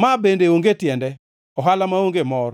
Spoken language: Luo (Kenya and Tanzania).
Ma bende onge tiende, ohala maonge mor!